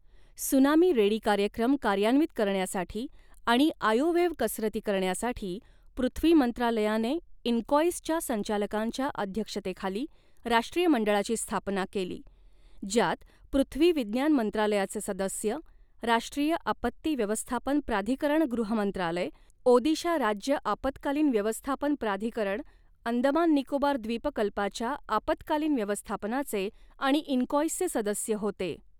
Tsunami ready कार्यक्रम कार्यान्वित करण्यासाठी आणि आयोव्हेव्ह कसरती करण्यासाठी पृथ्वी मंत्रालयाने इनकाँईसच्या संचालकांच्या अध्यक्षतेखाली राष्ट्रीय मंडळाची स्थापना केली, ज्यात पृथ्वी विज्ञान मंत्रालयाचे सदस्य, राष्ट्रीय आपत्ती व्यवस्थापन प्राधिकरण गृहमंत्रालय, ओदिशा राज्य आपत्कालीन व्यवस्थापन प्राधिकरण अंदमान निकोबार द्वीपकल्पाच्या आपत्कालीन व्यवस्थापनाचे आणि इनकाँईसचे सदस्य होते.